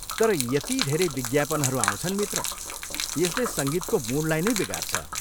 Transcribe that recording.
तर यति धेरै विज्ञापनहरू आउँछन् मित्र, यसले सङ्गीतको मुडलाई नै बिगार्छ।